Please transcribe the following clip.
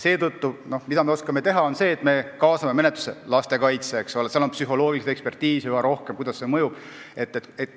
Seetõttu ainus, mida me oskame teha, on see, et me kaasame menetlusse lastekaitse, sest seal on vaja üha rohkem psühholoogiaekspertiisi, et teada saada, kuidas miski mõjub.